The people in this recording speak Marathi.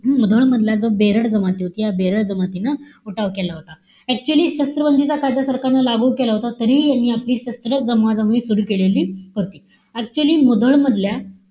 हम्म? मुधोळ मधल्या जो बेरड जमाती. या बेरड जमातीनं उठाव केला होता. Actually शस्त्रबंदीचा कायदा सरकारनं लागू केला होता. तरीही यांनी आपली शस्त्रास्त्र जमवाजमवी सुरु केलेली होती. Actually मुधोळ मधल्या,